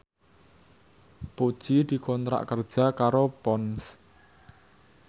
Puji dikontrak kerja karo Ponds